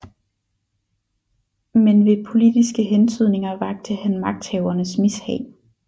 Men ved politiske hentydninger vakte han magthavernes mishag